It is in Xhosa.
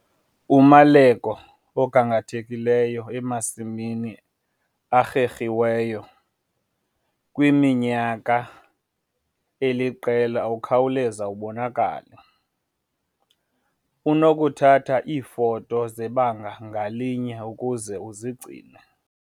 Umaleko ogangathekileyo emasimini a-erhiweyo kwiminyaka eliqela ukhawuleza ubonakale. Unokuthatha iifoto zebanga ngalinye ukuze uzigcine.